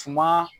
Suma